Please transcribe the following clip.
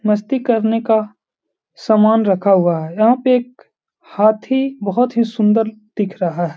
मस्ती करने का समान रखा हुवा है। यहाँ पे एक हाथी बहोत ही सुन्दर दिख रहा है।